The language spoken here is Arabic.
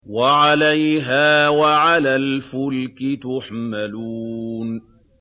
وَعَلَيْهَا وَعَلَى الْفُلْكِ تُحْمَلُونَ